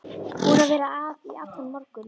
Búin að vera að í allan morgun.